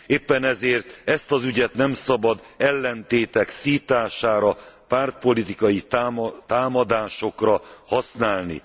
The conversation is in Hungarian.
Éppen ezért ezt az ügyet nem szabad ellentétek szítására, pártpolitikai támadásokra használni.